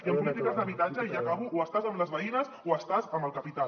i en polítiques d’habitatge i acabo o estàs amb les veïnes o estàs amb el capital